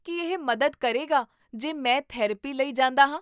ਕੀ ਇਹ ਮਦਦ ਕਰੇਗਾ ਜੇ ਮੈਂ ਥੈਰੇਪੀ ਲਈ ਜਾਂਦਾ ਹਾਂ?